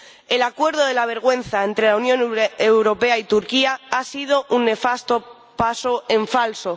El Acuerdo de la vergüenza entre la Unión Europea y Turquía ha sido un nefasto paso en falso.